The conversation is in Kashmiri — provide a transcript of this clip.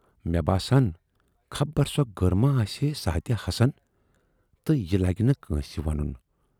مےٚ باسان، خبر سۅ گٔر ما آسہِ ہے ساعتہِ حسن تہٕ یہِ لگہِ نہٕ کٲنسہِ ونُن۔